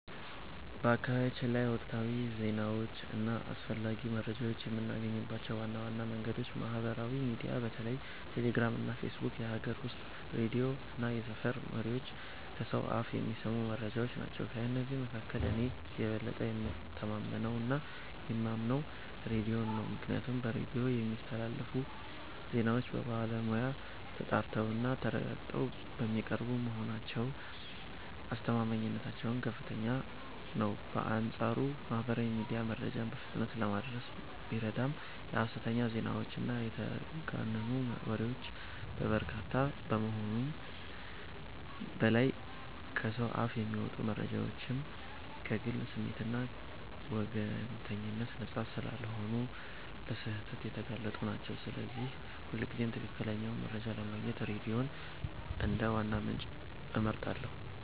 በአካባቢያችን ላይ ወቅታዊ ዜናዎችን እና አስፈላጊ መረጃዎችን የምናገኝባቸው ዋና ዋና መንገዶች ማህበራዊ ሚዲያ (በተለይ ቴሌግራም እና ፌስቡክ)፣ የሀገር ውስጥ ሬዲዮ እና የሰፈር ወሬዎች (ከሰው አፍ የሚሰሙ መረጃዎች) ናቸው። ከእነዚህ መካከል እኔ የበለጠ የምተማመነውና የማምነው ሬዲዮን ነው፤ ምክንያቱም በሬዲዮ የሚስተላለፉ ዜናዎች በባለሙያ ተጣርተውና ተረጋግጠው የሚቀርቡ በመሆናቸው አስተማማኝነታቸው ከፍተኛ ነው። በአንጻሩ ማህበራዊ ሚዲያ መረጃን በፍጥነት ለማድረስ ቢረዳም የሐሰተኛ ዜናዎችና የተጋነኑ ወሬዎች መበራከቻ ከመሆኑም በላይ፣ ከሰው አፍ የሚመጡ መረጃዎችም ከግል ስሜትና ወገንተኝነት ነፃ ስላልሆኑ ለስህተት የተጋለጡ ናቸው፤ ስለዚህ ሁልጊዜም ትክክለኛውን መረጃ ለማግኘት ሬዲዮን እንደ ዋና ምንጭ እመርጣለሁ።